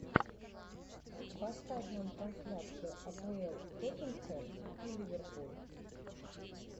поставь нам трансляцию апл тоттенхэм и ливерпуль